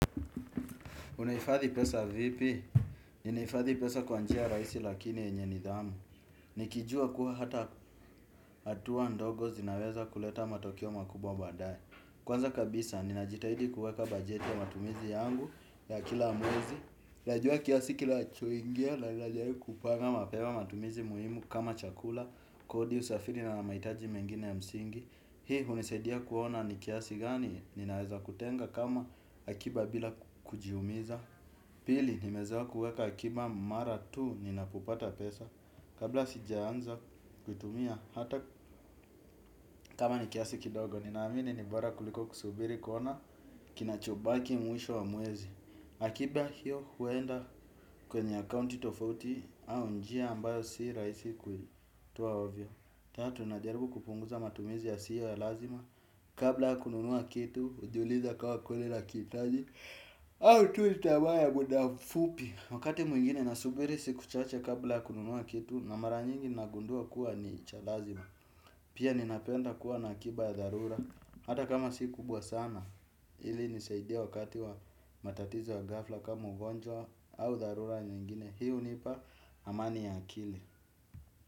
Unaifadhi pesa vipi? Ninaifadhi pesa kwa njia rahisi lakini yenye nidhamu. Nikijua kuwa hata atuwa ndogo zinaweza kuleta matokeo makubwa baadaye. Kwanza kabisa, ninajitahidi kuweka bajeti ya matumizi yangu ya kila mwezi. Najua kiasi kinachoingia, na najaribu kupanga mapema matumizi muhimu kama chakula, kodi usafiri na maitaji mengine ya msingi. Hii unisaidia kuona ni kiasi gani, ninaweza kutenga kama akiba bila kujiumiza. Pili nimezoea kuweka akiba mara tu nina popata pesa. Kabla sijaanza kutumia hata kama ni kiasi kidogo nina amini nibora kuliko kusubiri kona kinachobaki mwisho wa mwezi. Akiba hiyo huenda kwenye accounti tofauti au njia ambayo si rahisi kutoa ovyo. Tatu najaribu kupunguza matumizi yasiyo ya lazima. Kabla kununua kitu ujiuliza kama kweli nakiitaji au tu ni tamaa ya muda mfupi wakati mwingine na subiri siku kuchache kabla ya kununua kitu na mara nyingi nagundua kuwa ni cha lazima pia ninapenda kuwa na akiba ya dharura hata kama si kubwa sana hivi unisaidia wakati wa matatizo ya ghafla kama ugonjwa au dharura nyingine hiyo unipa amani ya akili.